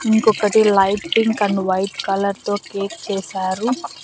ఇంకొకటి light pink and white colour తో cake చేశారు.